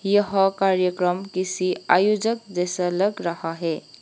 यह कार्यक्रम किसी आयोजक जैसा लग रहा है।